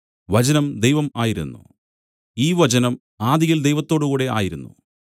അവൻ ഈ വചനം ആദിയിൽ ദൈവത്തോടുകൂടെ ആയിരുന്നു